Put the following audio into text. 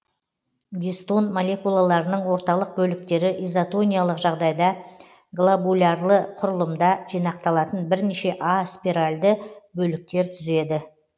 гистон молекулаларының орталық бөліктері изотониялық жағдайда глобулярлы құрылымда жинақталатын бірнеше а спиральді бөліктер түзеді